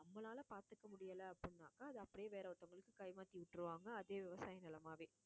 நம்மளால பாத்துக்க முடியல அப்படின்னாக்கா, அது அப்படியே வேற ஒருத்தவங்களுக்கு கை மாத்தி விட்டுருவாங்க. அதே விவசாய நிலமாவே